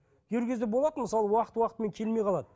кейбір кезде болады мысалы уақыт уақытымен келмей қалады